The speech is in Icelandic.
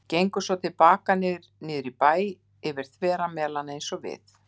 Gengu svo til baka niður í bæ yfir þvera Melana eins og við.